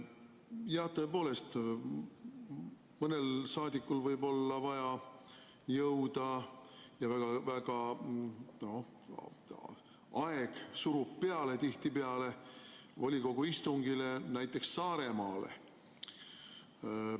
Jah, tõepoolest, mõnel saadikul võib olla vaja jõuda, sest aeg surub peale tihtipeale, volikogu istungile näiteks Saaremaale.